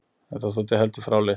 En það þótti heldur fráleitt.